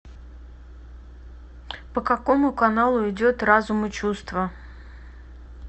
по какому каналу идет разум и чувства